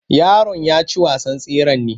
Yaron ya ci wasan tseren ne?